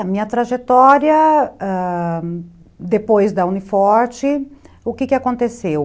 A minha trajetória, ãh... depois da Uni Forte, o que aconteceu,